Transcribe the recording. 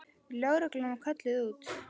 Lögreglan var kölluð út.